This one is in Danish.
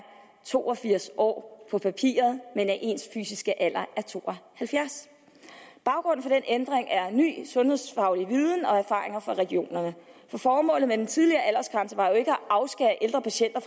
to og firs år på papiret men at ens fysiske alder er to og halvfjerds baggrunden for den ændring er ny sundhedsfaglig viden og erfaringer fra regionerne formålet med den tidligere aldersgrænse var jo ikke at afskære ældre patienter